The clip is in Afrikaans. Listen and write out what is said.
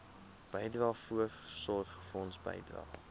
bydrae voorsorgfonds bydrae